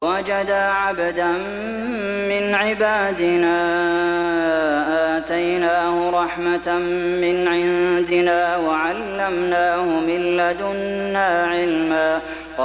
فَوَجَدَا عَبْدًا مِّنْ عِبَادِنَا آتَيْنَاهُ رَحْمَةً مِّنْ عِندِنَا وَعَلَّمْنَاهُ مِن لَّدُنَّا عِلْمًا